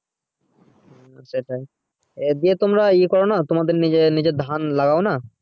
সেটাই দিয়ে তোমরা ই করোনা তোমাদের নিজের নিজের ধান লাগাও না